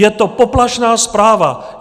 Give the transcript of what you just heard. Je to poplašná zpráva!